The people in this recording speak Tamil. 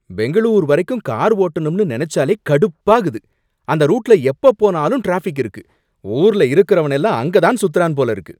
பெங்களூர் வரைக்கும் கார் ஓட்டனும்னு நெனச்சாலே கடுப்பாகுது. அந்த ரூட்ல எப்ப போனாலும் டிராஃபிக் இருக்கு. ஊர்ல இருக்கிறவன் எல்லாம் அங்க தான் சுத்துறான் போல இருக்கு.